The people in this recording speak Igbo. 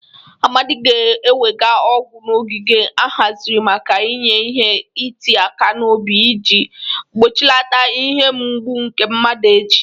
Amadị ga-ewega ọgwụ n'ogige ahaziri maka inye ihe iti aka n'obi iji gbochilata ihe mgbụ nke mmadu echi.